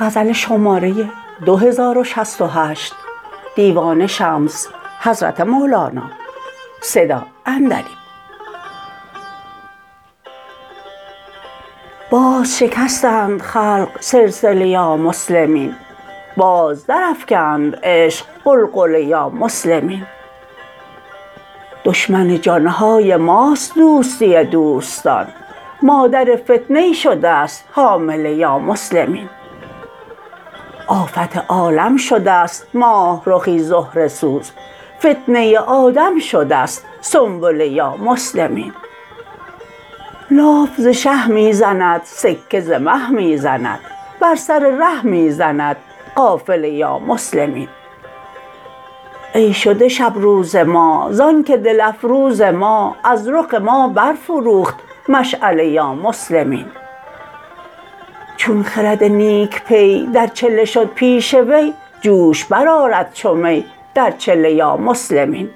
باز شکستند خلق سلسله یا مسلمین باز درافکند عشق غلغله یا مسلمین دشمن جان های ماست دوستی دوستان مادر فتنه شده ست حامله یا مسلمین آفت عالم شده ست ماه رخی زهره سوز فتنه آدم شده ست سنبله یا مسلمین لاف ز شه می زند سکه ز مه می زند بر سر ره می زند قافله یا مسلمین ای شده شب روز ما زآنک دل افروز ما از رخ ما برفروخت مشعله یا مسلمین چون خرد نیک پی در چله شد پیش وی جوش برآرد چو می در چله یا مسلمین